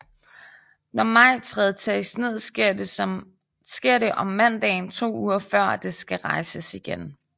Når majtræet tages ned sker det om mandagen to uger før det skal rejses igen